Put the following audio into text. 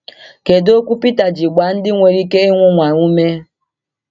Kedu okwu Peter ji gbaa ndị nwere ike ịnwụnwa ume?